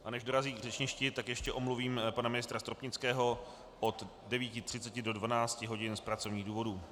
A než dorazí k řečništi, tak ještě omluvím pana ministra Stropnického od 9.30 do 12 hodin z pracovních důvodů.